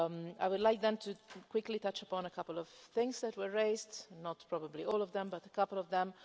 I would like quickly to touch upon a couple of points that were raised, not probably all of them, but a couple of them.